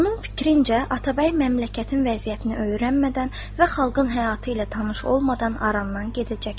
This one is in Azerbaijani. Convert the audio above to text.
Onun fikrincə, Atabəy məmləkətin vəziyyətini öyrənmədən və xalqın həyatı ilə tanış olmadan arandan gedəcəkdir.